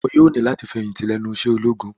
Iwọ yoo ni lati ifẹhinti lẹnu iṣẹ ologun!